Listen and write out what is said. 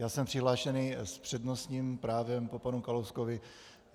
Já jsem přihlášený s přednostním právem po panu Kalouskovi.